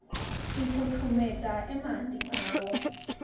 sifutfumeta emanti ngawo